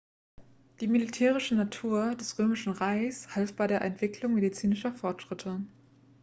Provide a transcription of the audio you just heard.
die militärische natur des römischen reichs half bei der entwicklung medizinischer fortschritte